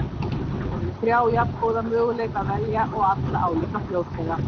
Hér er um þrjá jafngóða möguleika að velja og alla álíka fljótlega.